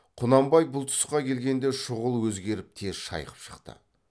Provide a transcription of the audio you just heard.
құнанбай бұл тұсқа келгенде шұғыл өзгеріп тез шайқып шықты